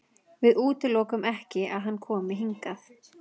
Við útilokum ekki að hann komi hingað.